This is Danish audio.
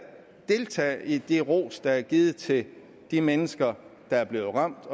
deltage i den ros der er givet til de mennesker der er blevet ramt